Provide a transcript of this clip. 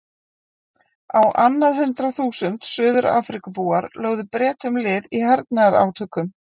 Á annað hundrað þúsund Suður-Afríkubúar lögðu Bretum lið í hernaðarátökum.